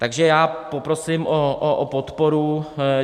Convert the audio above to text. Takže já poprosím o podporu.